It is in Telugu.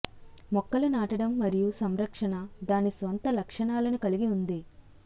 మొక్కలు నాటడం మరియు సంరక్షణ దాని స్వంత లక్షణాలను కలిగి ఉంది